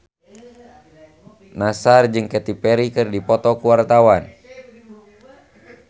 Nassar jeung Katy Perry keur dipoto ku wartawan